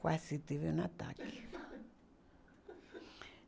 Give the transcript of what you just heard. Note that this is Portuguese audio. Quase tive um ataque